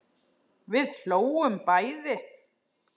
Við hlógum bæði.